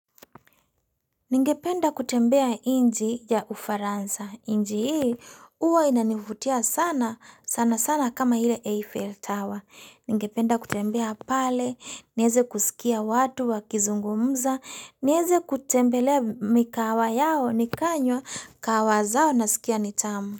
Ningependa kutembea nchi ya ufaransa. Nchi hii uwa inanivutia sana sana sana kama hile Eiffel Tower. Ningependa kutembea pale, nieze kusikia watu wa kizungumza, nieze kutembelea mikahawa yao ni kanywa kahawa zao na sikia ni tamu.